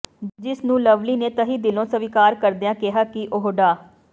ਜਿਸਨੂੰ ਲਵਲੀ ਨੇ ਤਹਿ ਦਿਲੋਂ ਸਵੀਕਾਰ ਕਰਦਿਆਂ ਕਿਹਾ ਕਿ ਉਹ ਡਾ